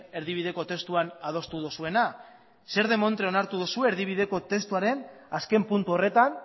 erdibideko testuan adostu duzuena zer demontre onartu duzu erdibideko testuaren azken puntu horretan